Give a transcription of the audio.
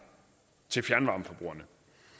til fjernvarmeforbrugerne